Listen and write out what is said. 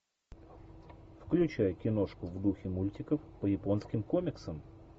включай киношку в духе мультиков по японским комиксам